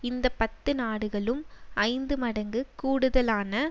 இந்த பத்து நாடுகளும் ஐந்து மடங்கு கூடுதலான